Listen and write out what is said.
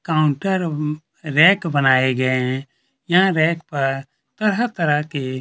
counter rack बनाए गए है यहाँ रैक पर तरह-तरह के--